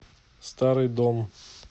старый дом